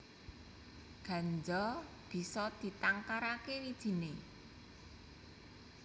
Ganja bisa ditangkaraké wijiné